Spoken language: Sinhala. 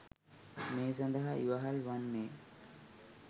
මේ සඳහා ඉවහල් වන්නේ